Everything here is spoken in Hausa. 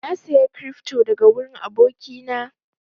Na saya cryfto daga wurin aboki na